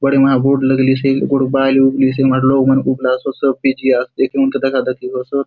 बड़े मा बोर्ड लगलिसे ए गोटोक बायले उबली से हुन बाटे लोग मन उबला सोत सब बीजी आसोत एके हुनके दखा दखी होसोत।